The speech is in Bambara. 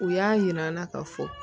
U y'a yir'an na ka fɔ